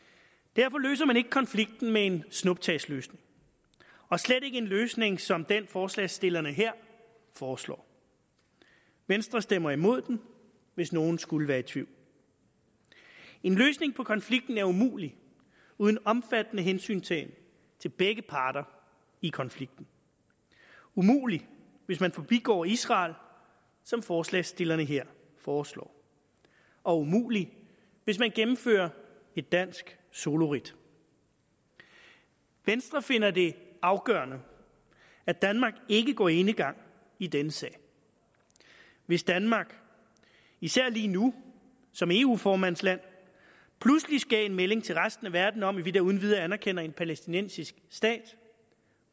derfor løser man ikke konflikten med en snuptagsløsning og slet ikke en løsning som den forslagsstillerne her foreslår venstre stemmer imod den hvis nogen skulle være i tvivl en løsning på konflikten er umulig uden omfattende hensyntagen til begge parter i konflikten umulig hvis man forbigår israel som forslagsstillerne her foreslår og umulig hvis man gennemfører et dansk soloridt venstre finder det afgørende at danmark ikke går enegang i denne sag hvis danmark især lige nu som eu formands land pludselig gav en meldning til resten af verden om at vi da uden videre anerkender en palæstinensisk stat